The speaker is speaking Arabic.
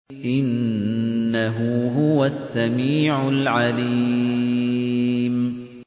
إِنَّهُ هُوَ السَّمِيعُ الْعَلِيمُ